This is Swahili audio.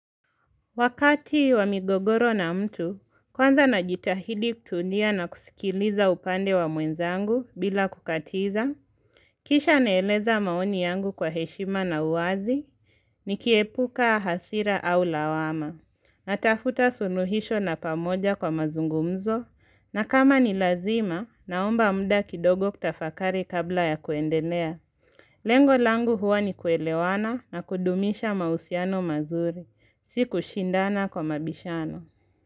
Wakati wa migogoro na mtu, kwanza najitahidi kutundia na kusikiliza upande wa muenza angu bila kukatiza. Kisha naeleza maoni yangu kwa heshima na uwazi, ni kiepuka hasira au lawama. Natafuta suluhisho na pamoja kwa mazungumzo, na kama ni lazima, naomba mda kidogo kutafakari kabla ya kuendelea. Lengo langu huwa ni kuelewana na kudumisha mausiano mazuri. Siku shindana kwa mabishano.